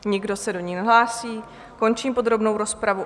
Nikdo se do ní nehlásí, končím podrobnou rozpravu.